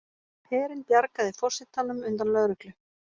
Herinn bjargaði forsetanum undan lögreglu